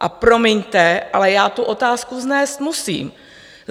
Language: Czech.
A promiňte, ale já tu otázku vznést musím.